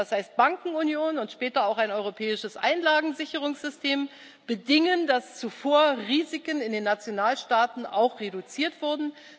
Das heißt, Bankenunion und später auch ein europäisches Einlagensicherungssystem bedingen, dass zuvor Risiken in den Nationalstaaten auch reduziert wurden.